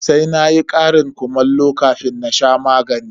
Sai na yi ƙarin kumallo kafin in sha magani.